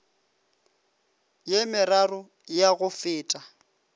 ye meraro ya go feta